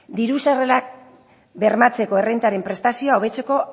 diru sarrerak bermatzeko errentaren prestazioa hobetzeko